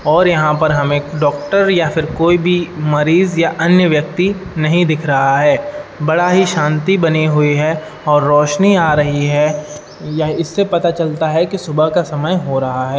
और यहाँ पर हमे डॉक्टर या कोई भी मरीज या अन्य व्यक्ति नहीं दिख रहा है बड़ा ही शांति बनी हुई है और रोशनी आ रही है। इससे पता चलता है की सुबह का समय हो रहा है।